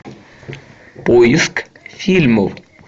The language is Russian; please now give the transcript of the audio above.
поиск фильмов